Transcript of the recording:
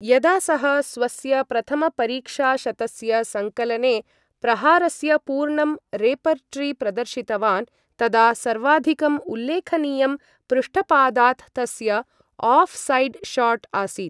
यदा सः स्वस्य प्रथमपरीक्षाशतस्य संकलने प्रहारस्य पूर्णं रेपर्टरी प्रदर्शितवान्, तदा सर्वाधिकं उल्लेखनीयं पृष्ठपादात् तस्य ऑफ साइड शॉट् आसीत्